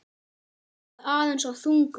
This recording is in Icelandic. Eða aðeins of þungur?